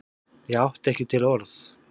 Ég átti ekki til orð.